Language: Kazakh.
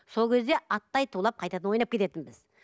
сол кезде аттай тулап қайтадан ойнап кететінбіз